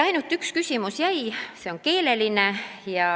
Ainult üks küsimus jäi, see on keeleline.